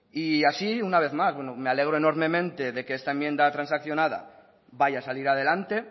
y así una vez más bueno me alegro enormemente de que esta enmienda transaccionada vaya a salir adelante